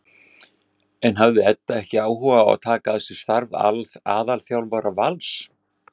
En hafði Edda ekki áhuga á að taka að sér starf aðalþjálfara Vals?